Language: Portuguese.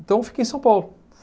Então, eu fiquei em São Paulo.